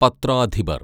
പത്രാധിപര്‍